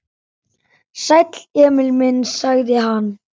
Sæll, Emil minn, sagði hann.